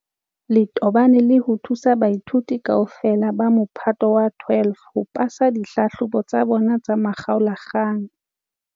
Le tobane le ho thusa baithuti kaofela ba Mophato wa 12 ho pasa dihlahlobo tsa bona tsa makgaola-kgang.